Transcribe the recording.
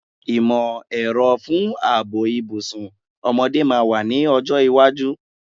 Ìmọ̀-ẹ̀rọ fún ààbò ìbùsùn ọmọdé máa wà ní ọjọ́ iwájú.